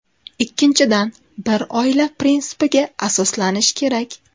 Ikkinchidan, bir oila prinsipiga asoslanish kerak.